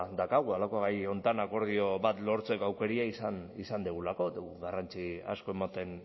daukagu halako gai honetan akordio bat lortzeko aukera izan dugulako eta garrantzi asko ematen